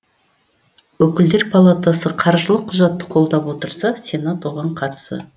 өкілдер палатасы қаржылық құжатты қолдап отырса сенат оған қарсы